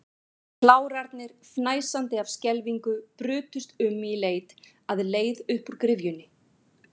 Klárarnir, fnæsandi af skelfingu, brutust um í leit að leið upp úr gryfjunni.